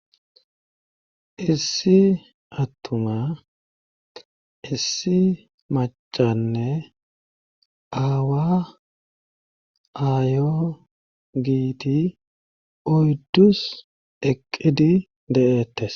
Ssi attuma issi machanne aawa aayo giiti oyddus eqqidi de7ettes.